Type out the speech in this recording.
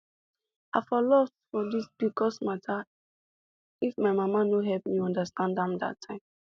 i for lost for this pcos matter if my mama no help me understand am that time